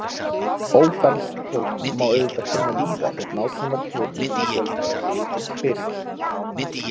Ófermt fólk má auðvitað finna víða þótt nákvæmar tölur um fjölda þess liggi ekki fyrir.